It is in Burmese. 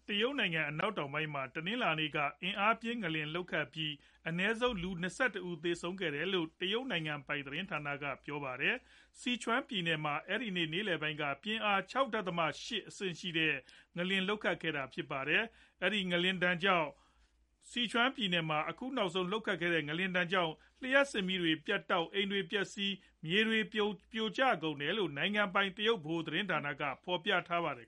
တရုတ်နိုင်ငံ အနောက်တောင်ပိုင်း မှာ တနင်္လာနေ့က အင်အားပြင်း ငလျင်လှုပ်ခတ်ပြီး အနည်းဆုံးလူ ၂၁ ဦးသေဆုံးခဲ့တယ်လို့ တရုတ် နိုင်ငံပိုင် သတင်းဌာန က ကြေညာပါတယ်။ Sichuan ပြည်နယ်မှာ အဲဒီနေ့ နေလည်ပိုင်းလောက်က ပြင်းအား ၆ ဒသမ ၈ အဆင့် ရှိတဲ့ ငလျင် လှုပ်ခတ်ခဲ့တာဖြစ်ပါတယ်။ မကြာခဏ ငလျင်ဒဏ် ခံရလေ့ရှိတဲ့ ဇီချွန်ပြည်နယ်မှာ အခုနောက်ဆုံး လှုပ်ခတ်တဲ့ ငလျင်ကြောင့် လျှပ်စစ်မီးတွေ ပြတ်တောက်၊ အိမ်တွေပျက်စီးပြီး မြေတွေပြိုကျ ကုန်တယ်လို့လည်း နိုင်ငံပိုင် တရုတ်ဗဟိုသတင်းဌာနက ဖော်ပြကြပါတယ်